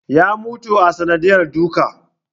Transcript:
Ya mutu a sanadiyar duka